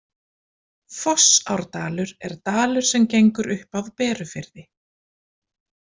Fossárdalur er dalur sem gengur upp af Berufirði.